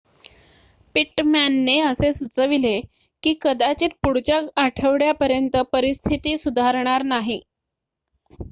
पिट्टमॅनने असे सुचवले की कदाचित पुढच्या आठवड्यापर्यंत परिस्थिती सुधारणार नाही